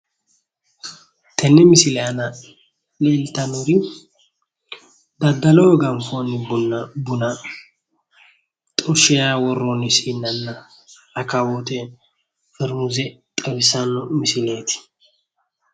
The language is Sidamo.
Tenne misile aana leeltannori daddaloho ganfoonni buna xorshinara worroonni siinnanna rakawoote fermuze xawissanno misileeti.